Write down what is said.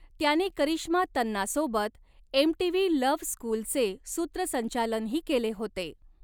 त्याने करिश्मा तन्नासोबत MTV love स्कूलचे सूत्रसंचालनही केले होते.